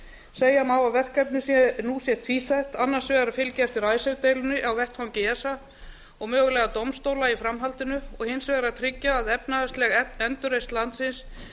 segja má að verkefnið nú sé tvíþætt annars vegar að fylgja eftir icesave deilunni á vettvangi esa og mögulega dómstóla í framhaldinu og hins vegar að tryggja að efnahagsleg endurreisn landsins